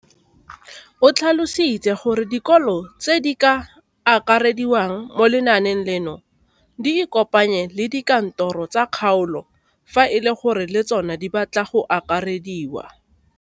O tlhalositse gore dikolo tse di sa akarediwang mo lenaaneng leno di ikopanye le dikantoro tsa kgaolo fa e le gore le tsona di batla go akarediwa.